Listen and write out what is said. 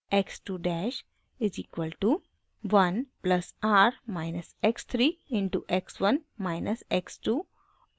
x 2 dash is equal to 1 plus r minus x 3 into x 1 minus x 2 और